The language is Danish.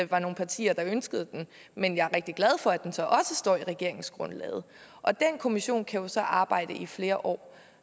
var nogle partier der ønskede den men jeg er rigtig glad for at den så også står i regeringsgrundlaget og den kommission kan jo så arbejde i flere år